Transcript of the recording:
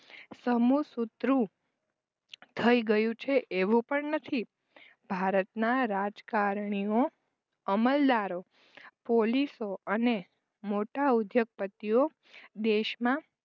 સમુશુત્રુ થઈ ગયું છે એવું પણ નથી. ભારતના રાજકારણીઓ અમલદારો પોલીસો અને મોટો ઉદ્યોગપતિઓ દેશમાં